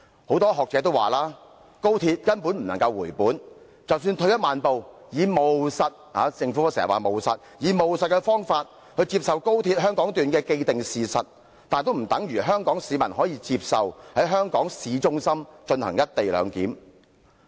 很多學者也指出，高鐵根本無法回本，即使退一萬步，以務實的態度——政府經常說要務實——接受高鐵香港段這個既定事實，也不等於說，香港市民可以接受在香港市中心進行"一地兩檢"的安排。